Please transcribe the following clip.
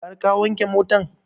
Har ka wanke motan?